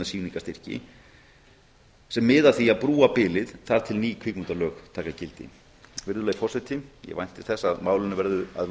tímabundna sýningarstyrki sem miða að því að brúa bilið þar til ný kvikmyndalög taka gildi virðulegi forseti ég vænti þess að málinu verði að